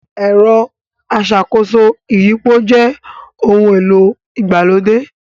Ẹ̀rọ aṣàkóso ìyípo jẹ ohun-èlò ìgbàlódé